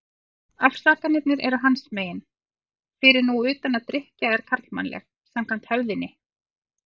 Afsakanirnar eru hans megin, fyrir nú utan að drykkja er karlmannleg, samkvæmt hefðinni.